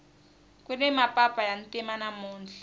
kuni mapapa ya ntima namuntlha